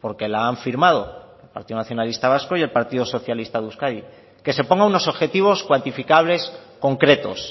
porque la han firmado el partido nacionalista vasco y el partido socialista de euskadi que se ponga unos objetivos cuantificables concretos